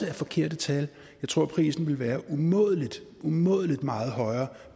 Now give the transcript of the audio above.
er forkerte tal jeg tror at prisen vil være umådelig umådelig meget højere